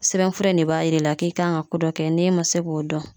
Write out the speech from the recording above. Sɛbɛnfura in de b'a yir'i la k'i kan ka ko dɔ kɛ n'e ma se k'o dɔn